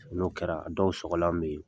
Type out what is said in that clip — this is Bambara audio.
N'o kɛra dɔw sɔgɔlan bɛ yen